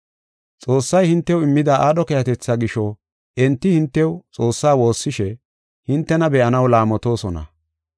Xoossay hintew immida aadho keehatetha gisho enti hintew Xoossaa woossishe hintena be7anaw laamotosona.